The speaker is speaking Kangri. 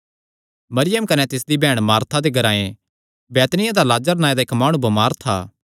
मरियम कने तिसदी बैहण मार्था दे ग्रांऐ बैतनिय्याह दा लाजर नांऐ दा इक्क माणु बमार था